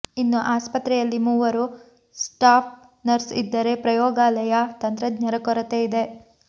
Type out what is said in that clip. ಇನ್ನು ಆಸ್ಪತ್ರೆಯಲ್ಲಿ ಮೂವರು ಸ್ಟಾಫ್ ನರ್ಸ್ ಇದ್ದರೆ ಪ್ರಯೋಗಾಲಯ ತಂತ್ರಜ್ಞರ ಕೊರತೆ ಇದೆ